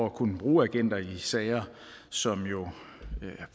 at kunne bruge agenter i sager som jo